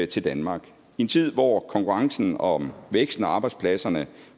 til danmark i en tid hvor konkurrencen om væksten og arbejdspladserne